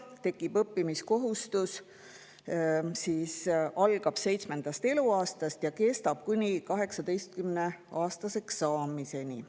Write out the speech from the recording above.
Tekib õppimiskohustus, mis algab seitsmendast eluaastast ja kestab kuni 18-aastaseks saamiseni.